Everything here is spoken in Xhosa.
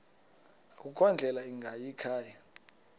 akukho ndlela ingayikhaya